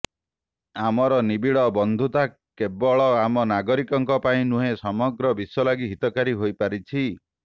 ଆମର ନିବିଡ଼ ବନ୍ଧୁତା କେବଳ ଆମ ନାଗରିକଙ୍କ ପାଇଁ ନୁହେଁ ସମଗ୍ର ବିଶ୍ୱ ଲାଗି ହିତକାରୀ ହୋଇପାରିଛି